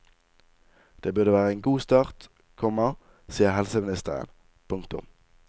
Det burde være en god start, komma sier helseministeren. punktum